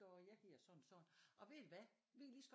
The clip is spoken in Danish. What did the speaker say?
Så jeg giver sådan og sådan og ved I hvad vi kan lige så